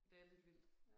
Det er lidt vildt